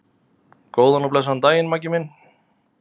Góðan og blessaðan daginn, Maggi minn.